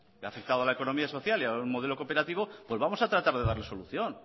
que ha afectado a la economía social y al modelo cooperativo pues vamos a tratar de darle solución